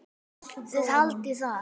Þið haldið það.